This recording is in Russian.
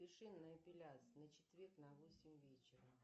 запиши на эпиляцию на четверг на восемь вечера